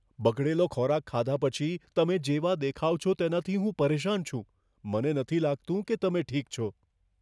બગડેલો ખોરાક ખાધા પછી તમે જેવા દેખાઓ છો તેનાથી હું પરેશાન છું. મને નથી લાગતું કે તમે ઠીક છો.